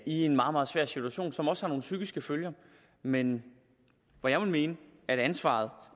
en meget meget svær situation som også har nogle psykiske følger men jeg vil mene at ansvaret